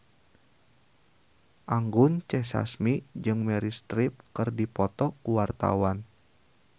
Anggun C. Sasmi jeung Meryl Streep keur dipoto ku wartawan